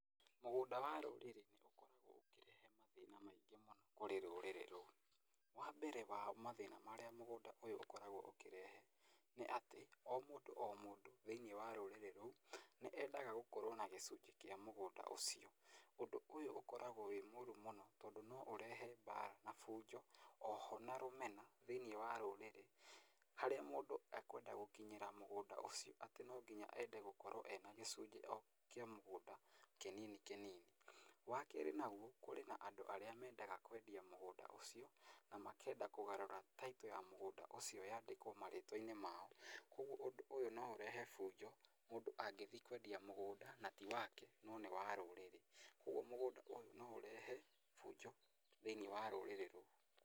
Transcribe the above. Mũgũnda wa rũrĩrĩ nĩ ũkoragwo ũkĩrehe mathĩna maingĩ mũno kũrĩ rũrĩrĩ rũu. Wa mbere wa mathĩna marĩa mũgũnda ũyũ ũkoragwo ũkĩrehe nĩ atĩ o mũndũ o mũndũ thĩinĩ wa rũrĩrĩ rũu nĩ endaga gũkorwo na gĩcunjĩ kĩa mũgũnda ũcio. Ũndũ ũyũ ũkoragwo wĩ mũũru mũno tondũ no ũrehe mbara na fujo o ho na rũmena thĩinĩ wa rũrĩrĩ. Harĩa mũndũ ekwenda gũkinyĩra mũgũnda ũcio atĩ no nginya ende gũkorwo ena gĩcunjĩ o kĩa mũgũnda kĩnini kĩnini. Wa kerĩ naguo kũrĩ na andũ arĩa mendaga kwendia mũgũnda ũcio na makenda kũgarũra Title ya mũgũnda ũcio yandĩkwo marĩtwa-inĩ mao. Kwoguo ũndũ ũyũ no ũrehe fujo mũndũ angĩthiĩ kwendia mũgũnda na ti wake no nĩ wa rũrĩrĩ. Ũguo mũgũnda ũyũ no ũrehe fujo thĩinĩ wa rũrĩrĩ rũu.